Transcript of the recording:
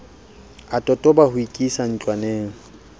a totoba ho ikisa ntlwaneng